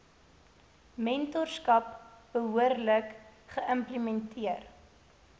mentorskap behoorlik geïmplementeer